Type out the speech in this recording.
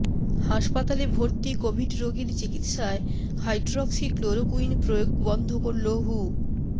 হাসপাতালে ভর্তি কোভিড রোগীর চিকিৎসায় হাইড্রক্সিক্লোরোকুইন প্রয়োগ বন্ধ করল হু